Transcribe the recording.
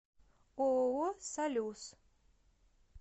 ооо салюс